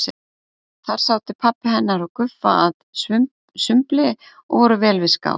Þar sátu pabbi hennar og Guffa að sumbli og voru vel við skál.